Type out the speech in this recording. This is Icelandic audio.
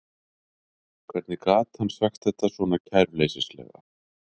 Hvernig gat hann sagt þetta svona kæruleysislega?